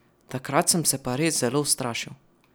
Takrat sem se pa res zelo ustrašil.